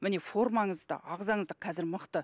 міне формаңыз да ағзаңыз да қазір мықты